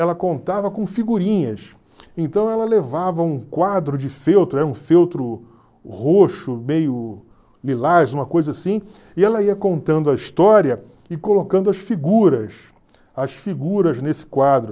Ela contava com figurinhas, então ela levava um quadro de feltro, era um feltro roxo, meio lilás, uma coisa assim, e ela ia contando a história e colocando as figuras, as figuras nesse quadro.